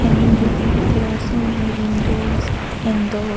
And in the back there are so many windows and door.